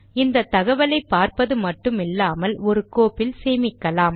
இந்த தகவலை பார்ப்பது மட்டுமில்லாமல் ஒரு கோப்பில் சேமிக்கலாம்